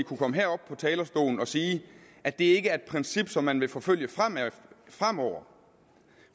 kunne komme herop på talerstolen og sige at det ikke er et princip som man vil forfølge fremover